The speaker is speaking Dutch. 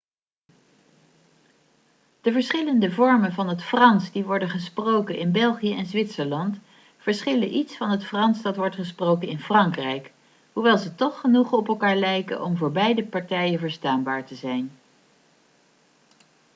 de verschillende vormen van het frans die worden gesproken in belgië en zwitserland verschillen iets van het frans dat wordt gesproken in frankrijk hoewel ze toch genoeg op elkaar lijken om voor beide partijen verstaanbaar te zijn